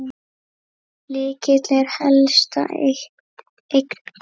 Lykill er helsta eign Klakka.